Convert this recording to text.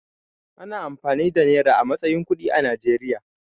Ana amfani da nera a matsayin kuɗi a Najeriya.